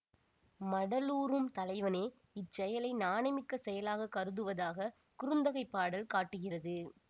மடலூரும் தலைவனே இச்செயலை நாணமிக்க செயலாகக் கருதுவதாக குறுந்தொகைப் பாடல் காட்டுகிறது